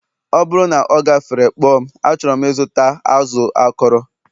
ọ bụrụ na ọ gafere, kpọọ m achọrọ m ịzụta azụ akọrọ